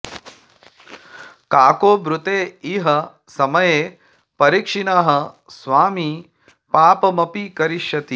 काको ब्रूते इह समये परिक्षीणः स्वामी पापमपि करिष्यति